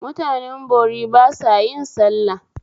Mutanen bori ba sa yin sallah